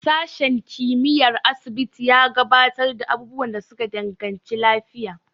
Sashen kimiyyar asibiti ya gabatar da abubuwan da suka danganci lafiya.